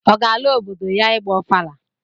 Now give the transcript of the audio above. Ọ ga-ala obodo ya ịgba ọfala